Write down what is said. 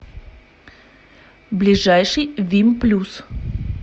ближайший вимплюс